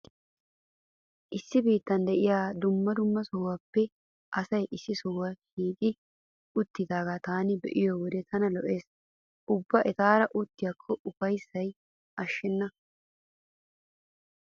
Issi biittan diya dumma dumma sohuwappe asay issi sohuwa shiiqi uttidaagaa taani be'iyo wode tana lo'ees. Ubba etaara uttiyakko ufayssay ashshenna.